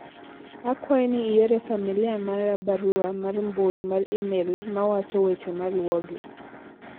akwayi ni iore familia mara barua mar mbui mar email ma wacho weche maluwogi